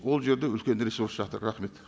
ол жерде үлкен ресурс жатыр рахмет